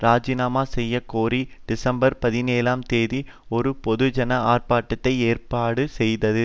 இராஜினாமா செய்ய கோரி டிசம்பர் பதினேழாம் தேதி ஒரு பொதுஜன ஆர்ப்பாட்டத்தை ஏற்பாடு செய்தது